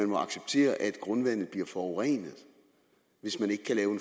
må acceptere at grundvandet bliver forurenet hvis man ikke kan lave